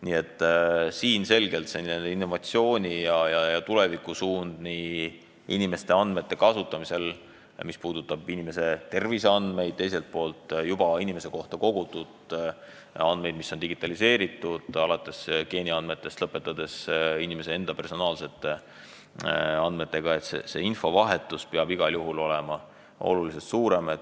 Nii et selgelt on innovatsiooni- ja tulevikusuund inimeste andmete kasutamisel, mis puudutab inimese terviseandmeid ja teiselt poolt juba inimese kohta kogutud andmeid, mis on digitaliseeritud, alates geeniandmetest ja lõpetades inimese enda personaalsete andmetega, selline, et infovahetus peab igal juhul olema oluliselt suurem.